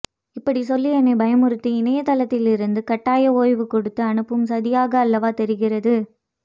இப்படி சொல்லி என்னைபயமுறுத்தி இணையத்தில் இருந்து கட்டாய ஒய்வு கொடுத்து அனுப்பும் சதியாக அல்லவா தெரிகிறது